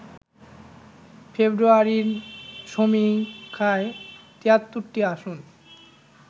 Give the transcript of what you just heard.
ফেব্রুয়ারির সমীক্ষায় ৭৩টি আসন